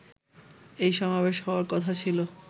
এই সমাবেশ হওয়ার কথা ছিলো